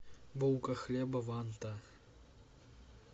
булка хлеба ванта